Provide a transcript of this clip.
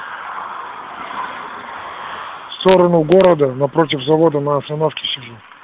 в сторону города напротив завода на остановке сижу